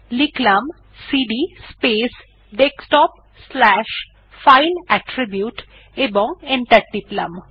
লিখলাম cd space desktop slash file attribute এবং enter টিপলাম